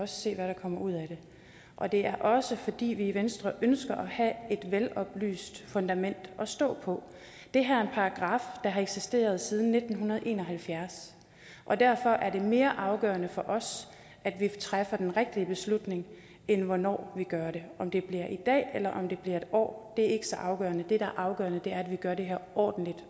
se hvad der kommer ud af det og det er også fordi vi i venstre ønsker at have et veloplyst fundament at stå på det her er en paragraf der har eksisteret siden nitten en og halvfjerds og derfor er det mere afgørende for os at vi træffer den rigtige beslutning end hvornår vi gør det om det bliver i dag eller om det bliver om et år er ikke så afgørende det der er afgørende er at vi gør det her ordentligt